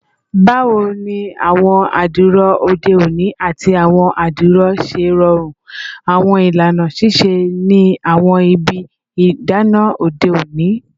Bawo ni awọn adiro ode oni ati awọn adiro ṣe rọrun awọn ilana sise ni awọn ibi idana ode oni?